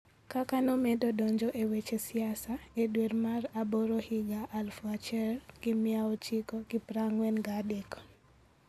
Kaka nomedo donjo e weche siasa, e dwe mar aboro higa 1943,